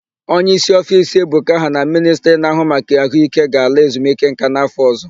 Onyeísí ofiisi Ebuka ha na Ministri na-áhụ́ maka àhụ́íké ga-ala ezumikeńká n'áfọ̀ ọ̀zọ́.